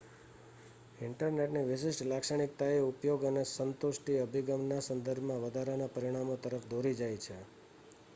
ઇન્ટરનેટની વિશિષ્ટ લાક્ષણિકતાઓ ઉપયોગ અને સ્ન્તુષ્ટિ અભિગમના સંદર્ભમાં વધારાના પરિમાણો તરફ દોરી જાય છે